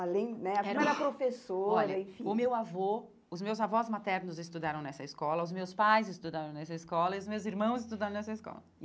Além, né, a filha era professora, enfim... Olha, o meu avô, os meus avós maternos estudaram nessa escola, os meus pais estudaram nessa escola e os meus irmãos estudaram nessa escola.